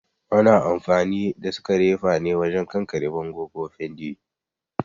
Ana amfani da sekerefa wajen kankare bango ko fenti